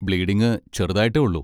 Bleeding ചെറുതായിട്ടേ ഉള്ളൂ.